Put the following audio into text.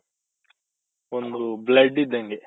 ಒಂದು blood ಇದ್ದಂಗೆ.